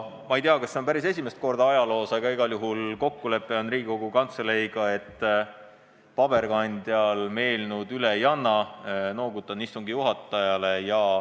Ma ei tea, kas see on päris esimest korda ajaloos, aga igal juhul on Riigikogu Kantseleiga tehtud kokkulepe, et paberkandjal me eelnõu üle ei anna.